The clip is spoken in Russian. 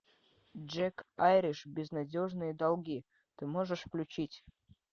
джек айриш безнадежные долги ты можешь включить